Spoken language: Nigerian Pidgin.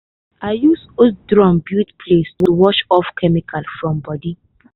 i use old drum build place to wash off chemical from body.